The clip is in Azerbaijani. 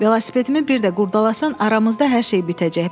Velosipedimi bir də qurdalasan, aramızda hər şey bitəcək.